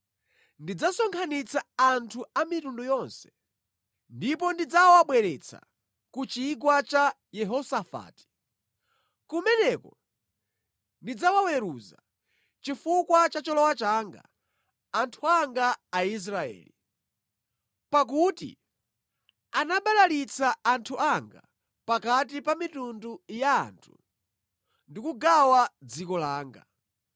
ndidzasonkhanitsa anthu a mitundu yonse ndipo ndidzawabweretsa ku Chigwa cha Yehosafati. Kumeneko ndidzawaweruza chifukwa cha cholowa changa, anthu anga Aisraeli, pakuti anabalalitsa anthu anga pakati pa mitundu ya anthu ndikugawa dziko langa.